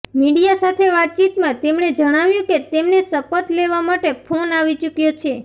media સાથે વાતચીતમાં તેમણે જણાવ્યું કે તેમને શપથ લેવા માટે ફોન આવી ચૂક્યો છે